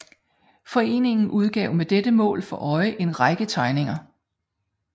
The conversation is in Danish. Foreningen udgav med dette mål for øje en række tegninger